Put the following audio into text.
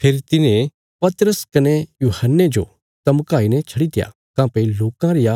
फेरी तिन्हें पतरस कने यूहन्ने जो धमकाई ने छडित्या काँह्भई लोकां रिया